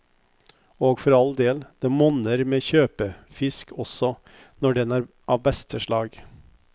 Og for all del, det monner med kjøpefisk også, når den er av beste slag.